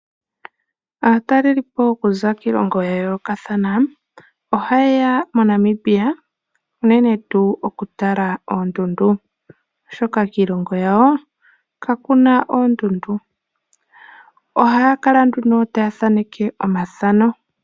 Aatalelipo okuza kiilongo ya yoolokathana, ohaye ya moNamibia unene tuu okutala oondundu oshoka kiilongo yawo kaku na sha oondundu. Ohaya kala nduno taya thaaneke omathano.